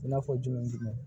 I n'a fɔ jumɛn ni jumɛn